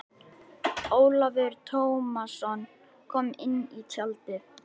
Ólafur Tómasson kom inn í tjaldið.